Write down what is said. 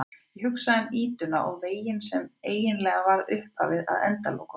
Ég hugsa um ýtuna og veginn sem eiginlega var upphafið að endalokunum.